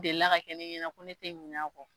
Delila ka kɛ ne ɲɛna ko ne te ɲin'a kɔ